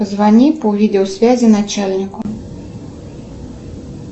звони по видеосвязи начальнику